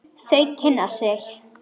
Þau kynna sig.